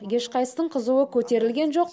ешқайсының қызуы көтерілген жоқ